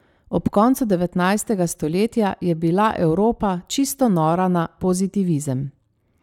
Ob koncu devetnajstega stoletja je bila Evropa čisto nora na pozitivizem.